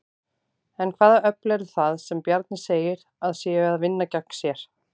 En hvaða öfl eru það sem Bjarni segir að séu að vinna gegn sér?